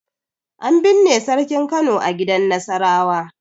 An binne Sarkin Kano a gidan Nasarawa.